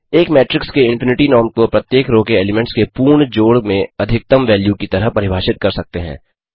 एक मेट्रिक्स के infinity norm को प्रत्येक रो के एलीमेंट्स के पूर्ण जोड़ में अधिकतम वैल्यू की तरह परिभाषित कर सकते हैं